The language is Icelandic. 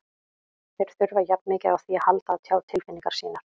Þeir þurfa jafn mikið á því að halda að tjá tilfinningar sínar.